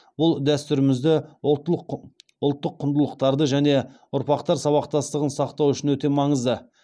бұл дәстүрімізді ұлттық құндылықтарды және ұрпақтар сабақтастығын сақтау үшін өте маңызды